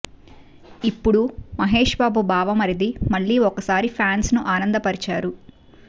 ఇప్పుడు మహేష్ బాబు బావమరిది మళ్ళి ఒకసారి ఫాన్స్ ని ఆనందపరిచారు